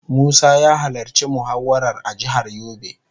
Musa ya halarci muhawarar a jihar yobe.